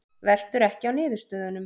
Veltur ekki á niðurstöðunum